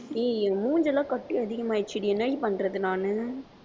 ஏய் என் மூஞ்சியெல்லாம் கட்டி அதிகமாயிருச்சுடி என்னடி பண்றது நானு